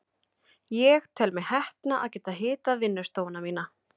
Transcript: Ég tel mig heppna að geta hitað vinnustofuna mína.